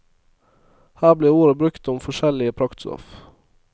Her ble ordet brukt om forskjellige praktstoff.